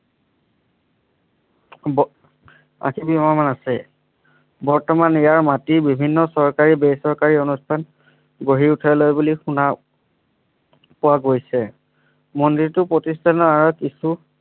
গ আশী বিঘা মান আছে বৰ্তমান ইয়াৰ মাটি বিভিন্ন চৰকাৰী বেচৰকাৰী অনুষ্ঠান গঢ়ি উটাই লৈ বুলি শুনা পোৱা গৈছে মন্দিৰটো প্ৰতিস্থানৰ আৰত